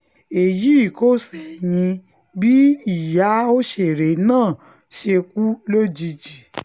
èyí kò ṣẹ̀yìn bí ìyá òṣèré náà ṣe kú lójijì